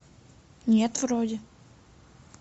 нет вроде